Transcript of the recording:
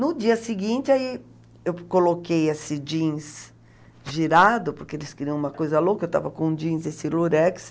No dia seguinte, aí eu coloquei esse jeans girado, porque eles queriam uma coisa louca, eu estava com jeans, esse lurex...